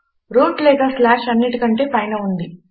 route లేక స్లాష్అన్నిటికంటే పైన ఉంది